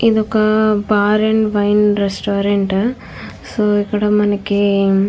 ఇది ఒక bar and wine restaurant . So ఇక్కడ మనకి --